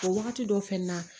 O wagati dɔ fɛnɛ na